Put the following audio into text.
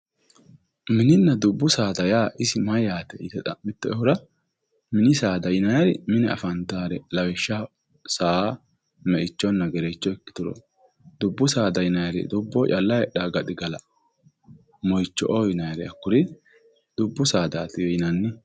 Mininna dubbu saada yaa isi mayate yite xa'mittoehura mini saada mine affantanori lawishshaho saa, meichonna gerecho ikkituro dubbu saada yinnanniri dubboho calla heedhano gaxigala moicho"o yinnannire hakkuri dubbu saadati yinnanni.